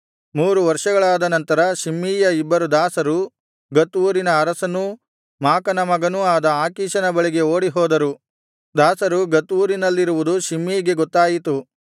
ಮೂರು ವರ್ಷಗಳಾದನಂತರ ಶಿಮ್ಮೀಯ ಇಬ್ಬರು ದಾಸರು ಗತ್ ಊರಿನ ಅರಸನೂ ಮಾಕನ ಮಗನೂ ಆದ ಆಕೀಷನ ಬಳಿಗೆ ಓಡಿಹೋದರು ದಾಸರು ಗತ್ ಊರಿನಲ್ಲಿರುವುದು ಶಿಮ್ಮೀಗೆ ಗೊತ್ತಾಯಿತು